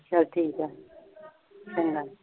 ਚੱਲ ਠੀਕ ਆ ਚੰਗਾ